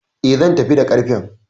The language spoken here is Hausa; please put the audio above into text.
E, zan tafi da ƙarfen.